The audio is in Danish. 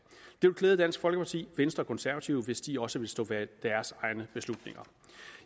det ville klæde dansk folkeparti venstre og konservative hvis de også ville stå bag deres egne beslutninger